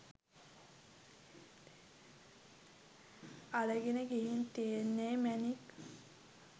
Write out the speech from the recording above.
අරගෙන ගිහින් තියෙන්නේ මැණික්